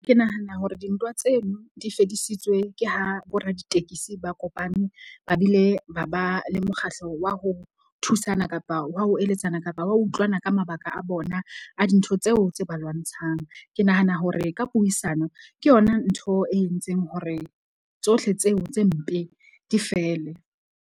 Ke nahana hore dintwa tseno di fedisitswe ke ha bo raditekesi ba kopane ba bile ba ba le mokgahlo wa ho thusana kapa wa ho eletsana kapa wa utlwana ka mabaka a bona a dintho tseo tse ba lwantshang. Ke nahana hore ka puisano ke yona ntho e entseng hore tsohle tseo tse mpe di fele.